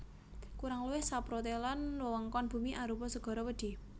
Kurang luwih saprotelon wewengkon bumi arupa segara wedhi